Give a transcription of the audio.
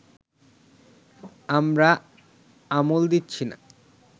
আমরা আমল দিচ্ছি না